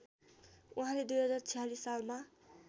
उहाँले २०४६ सालमा